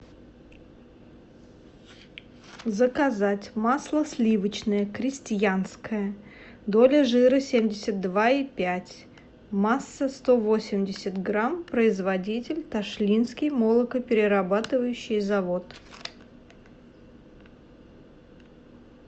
заказать масло сливочное крестьянское доля жира семьдесят два и пять масса сто восемьдесят грамм производитель ташлинский молокоперерабатывающий завод